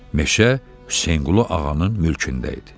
Meşə Hüseynqulu Ağanın mülkündə idi.